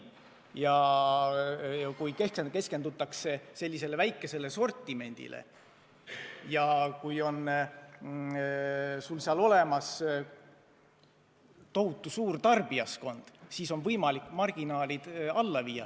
Ja kui keskendutakse nii väikesele sortimendile ja kui sul on olemas tohutu suur tarbijaskond, siis on võimalik marginaalid alla viia.